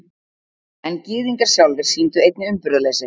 En Gyðingar sjálfir sýndu einnig umburðarleysi.